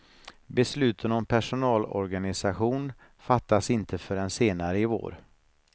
Besluten om personalorganisation fattas inte förrän senare i vår.